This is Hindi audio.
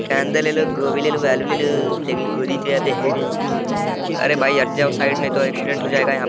कांदा ले लो गोभी ले लो आलू ले लो लेकिन गोदी तो यहाँ पे है नहीं अरे भाई हट जाओ साइड नहीं तो एक्सीडेंट हो जाएगा यहाँ --